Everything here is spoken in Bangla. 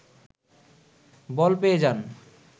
বল পেয়ে যান